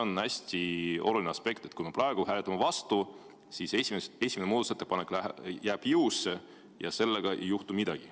On hästi oluline aspekt, et kui me praegu hääletame vastu, siis esimene muudatusettepanek jääb jõusse ja sellega ei juhtu midagi.